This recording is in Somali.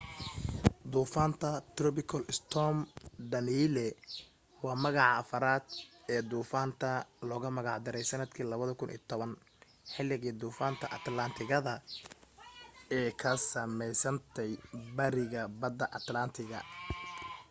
duufaanta tropical storm danielle waa magaca afarad ee duufaanta logu magac daray sanadkii 2010 xiligii duufaanta atlantic gada ee ka sameysantay bariga bada atlantic gada